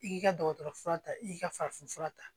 I k'i ka dɔgɔtɔrɔ fura ta i ka farafin fura ta